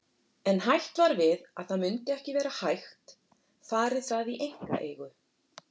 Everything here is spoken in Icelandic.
En hætt var við að það myndi ekki vera hægt færi það í einkaeigu.